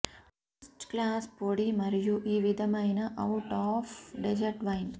first class పొడి మరియు ఈ విధమైన అవుట్ ఆఫ్ డెజర్ట్ వైన్